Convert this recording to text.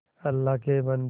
अल्लाह के बन्दे